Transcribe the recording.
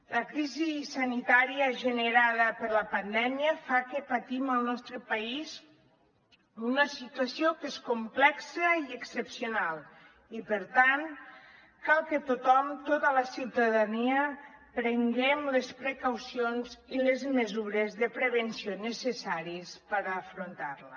la crisi sanitària generada per la pandèmia fa que patim al nostre país una situació que és complexa i excepcional i per tant cal que tothom tota la ciutadania prenguem les precaucions i les mesures de prevenció necessàries per afrontar la